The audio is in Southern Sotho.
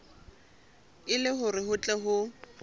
le hore ho tle ho